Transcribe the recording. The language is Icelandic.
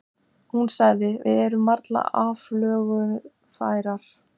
Hún sagði: Við erum varla aflögufærar.